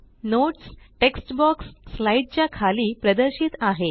notes text box slide च्या खाली प्रदर्शित आहे